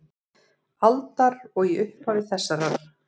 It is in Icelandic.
aldar og í upphafi þessarar.